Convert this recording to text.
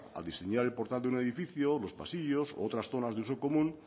al diseñar el portal de un edificio los pasillos u otras zonas de uso común